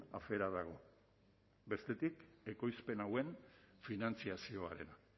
afera dago bestetik ekoizpen hauen finantzazioarena